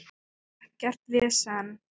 Ekkert vesen.